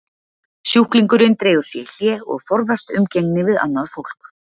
Sjúklingurinn dregur sig í hlé og forðast umgengni við annað fólk.